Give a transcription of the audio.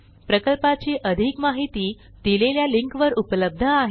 प्रकल्पाची अधिक माहिती दिलेल्या लिंकवर उपलब्ध आहे